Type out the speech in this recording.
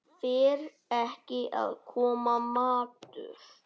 Fer ekki að koma matur?